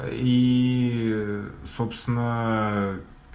ии собственно